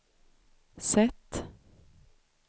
sätt